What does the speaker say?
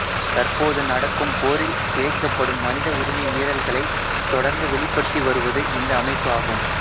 தற்போது நடக்கும் போரில் இழைக்கைப்படும் மனித உரிமை மீறல்களை தொடர்ந்து வெளிப்படுத்தி வருவது இந்த அமைப்பு ஆகும்